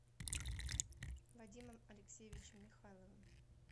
вадимом алексеевичем михайловым